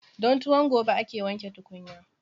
Don tuwon gobe ake wanke tukunya.